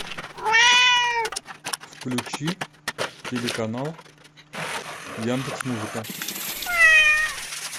включи телеканал яндекс музыка